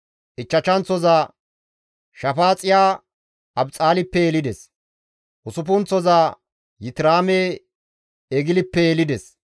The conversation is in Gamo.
Ichchashanththoza Shafaaxiya Abixaalippe yelides Usuppunththoza Yitiraame Eglippe yelides.